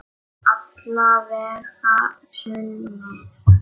Alla vega sumir.